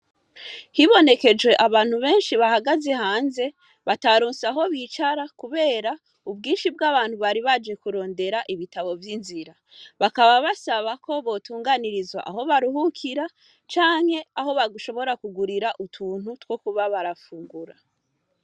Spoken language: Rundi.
Hibonekeje abantu benshi bahagaze hanze, bataronse aho bicara kubera ubwinshi bw'abantu bari baje kurondera ibitabo vy'inzira. Bakaba basaba ko botunganirizwa aho baruhukira canke aho bashobora kugurira utuntu two kuba barafungura.